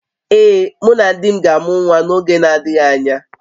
Ee, mụ na di m ga-amụ nwa n’oge na-adịghị anya